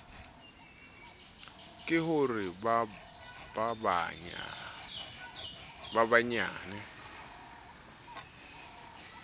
ke ho re ba banyane